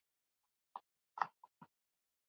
Yfir henni er ljómi.